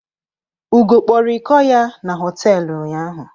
Ugo kpọrọ ịkọ ya na hotelu ụnyaahụ.